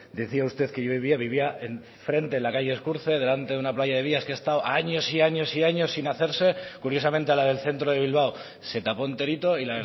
decía usted que yo vivía vivía en frente de la calle ezkurtze delante de una playa de vías que ha estado años y años sin hacerse curiosamente a la del centro de bilbao se tapó enterito y